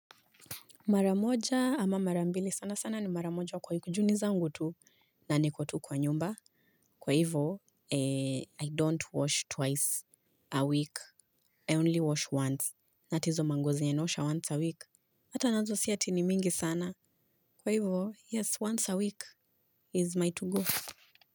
Maramoja ama marambili sana sana ni maramoja kwa yukujuni zangu tu. Na nikotu kwa nyumba. Kwa hivo, I don't wash twice a week. I only wash once. Na ata hizo manguo zenye naosha once a week. Hata nazo sia tini mingi sana. Kwa hivo, yes, once a week is my to-go.